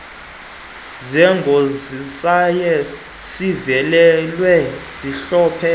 zeengozizaye zivelelwe zihlolwe